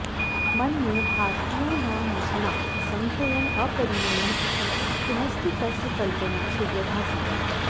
मन्ये भारतीयानामृषीणां असङ्ख्यम् अपरिमेयम् इति किमस्ति तस्य कल्पना सुदृढासीत्